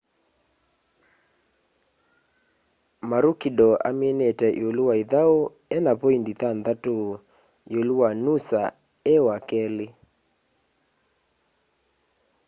maroochydore aminite iulu wa ithau ena poindi thanthatu iulu wa noosa e wakeli